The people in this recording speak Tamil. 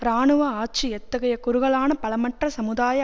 இராணுவ ஆட்சி எத்தகைய குறுகலான பலமற்ற சமுதாய